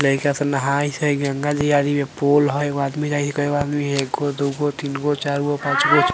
लइका सब नहाइथ हय गंगा जी आदि में पोल हय एगो आदमी कएगो आदमी एगो दुगो तीनगो चरगो पाँचगो --